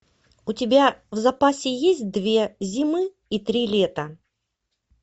у тебя в запасе есть две зимы и три лета